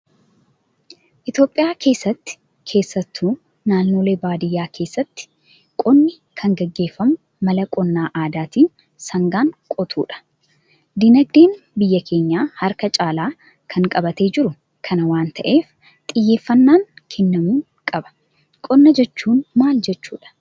Itoophiyaa keessatti keessattuu naannolee baadiyyaatti keessatti qonni kan gaggeeffamu mala qonna aadaatiin sangaan qotuudha. Dinagdee biyya keenyaa harka caalaa kan qabatee jiru kana waan ta'eef, xiyyeeffanaan kennamuu qaba. Qonna jechuun maal jechuudha?